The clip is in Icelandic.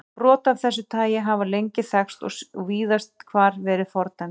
Brot af þessu tagi hafa lengi þekkst og víðast hvar verið fordæmd.